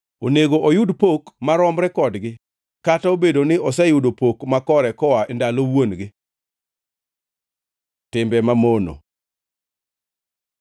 Onego oyud pok maromre kodgi, kata obedo ni oseyudo pok makore koa e ndalo wuon-gi. Timbe mamono